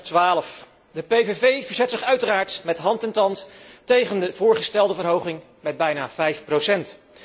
2012. De PVV verzet zich uiteraard met hand en tand tegen de voorgestelde verhoging met bijna 5 procent.